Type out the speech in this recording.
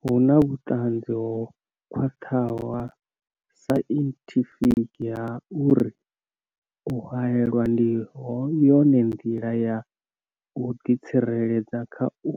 Hu na vhuṱanzi ho khwaṱhaho ha sainthifiki ha uri u haelwa ndi yone nḓila ya u ḓitsireledza kha u